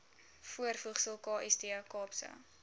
voorvoegsel kst kaapse